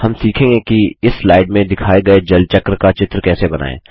हम सीखेंगे कि इस स्लाइड में दिखाये गये जल चक्र का चित्र कैसे बनाएँ